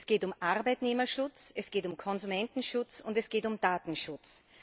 Es geht um Arbeitnehmerschutz, es geht um Konsumentenschutz, und es geht um Datenschutz.